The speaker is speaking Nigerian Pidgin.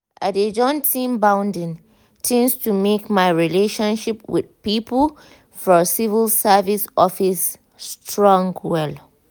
i dey join team bonding things to make my relationship with people for civil service office strong well.